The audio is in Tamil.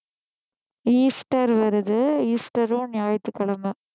ஈஸ்டர் வருது ஈஸ்டரும் ஞாயிற்றுக்கிழமை